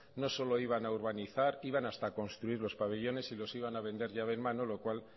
no solo iban a urbanizar iban hasta a construir los pabellones y los iban a vender llave en mano lo cual